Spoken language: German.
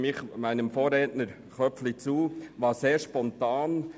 Hierin stimme ich meinem Vorredner Grossrat Köpfli zu.